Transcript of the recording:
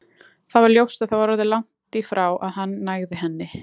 Það var ljóst að það var orðið langt í frá að hann nægði henni.